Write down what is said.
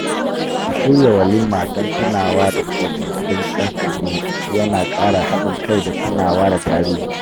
Shirya walima don tunawa da tsofaffin kakanni ya na ƙara haɗin kai da tunawa da tarihi